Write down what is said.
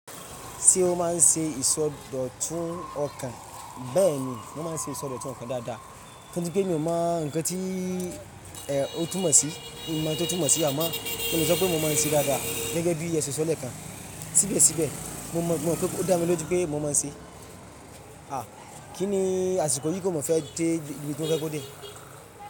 Ṣé ó máa ń ṣe ìsọdọ̀tun ọkàn? Bẹ́ẹ̀ ni, mo máa ń ṣe ìsọdọ̀tun ọkàn dáadáa, torí pé mí o máa ńkán tí, ẹ́, òtún mó sí. Mo mo ouń to túnmó sí, àmọ́ mò le sọpé mo máa ń ṣe dáadáa. Gẹ́gẹ́ bí è ṣe sọ leẹ́kàn. Síbẹ̀síbẹ̀, mo mọ̀, ó dá mi lójú pé mo máa ń ṣe. À!, Kí ni àsìkò yìí kó mọ̀ fẹ́ de ibi to ye kó dé.